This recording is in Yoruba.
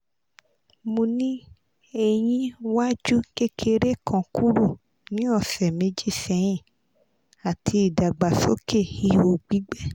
mo ni eyin waju kekere kan kuro ni ọsẹ meji sẹhin ati idagbasoke iho gbigbẹ